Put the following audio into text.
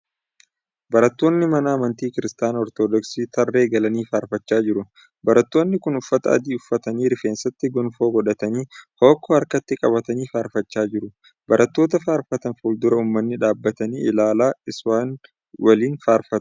Barattoonni mana amantii Kiristaanaa Ortoodooksii tarree galanii faarfachaa jiru. Barattoonni kun uffata adii uffatanii rifeensatti gonfoo godhatanii hookkoo harkatti qabatanii faarfachaa jiru. Barattoota faarfatan fuuldura uummanni dhaabbatanii ilaalaa isawn waliin faarfatu.